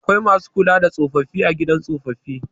Akwai masu kula da tsofaffi a gidan tsofaffi.